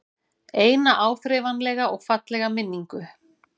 Eina áþreifanlega og fallega minningu.